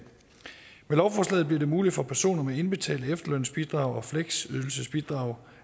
med lovforslaget bliver det muligt for personer med indbetalte efterlønsbidrag og fleksydelsesbidrag